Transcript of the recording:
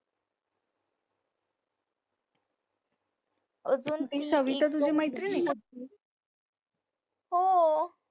कविता तुझी मैत्रीण आहे का